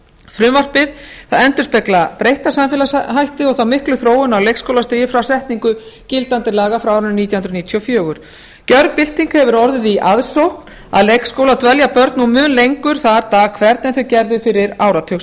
frumvarpið endurspeglar breytta samfélagshætti og þá miklu þróun á leikskólastigi frá setningu gildandi laga frá árinu nítján hundruð níutíu og fimm gjörbylting hefur orðið á aðsókn að leikskóla og dvelja börn nú mun lengur þar dag hvern en þau gerðu fyrir áratug